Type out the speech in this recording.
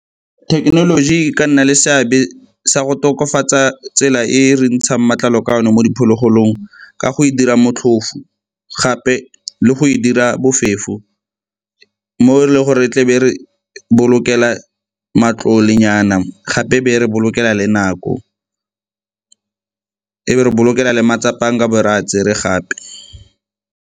Thekenoloji e ka nna le seabe sa go tokafatsa tsela e re ntshang matlalo ka one mo diphologolong ka go e dira motlhofo, gape le go e dira bofefo mo e leng gore e tle be re bolokela matlole nyana, gape e be e re bolokega le nako, e be re bolokelang le matsapa a nkabo re a tsere gape.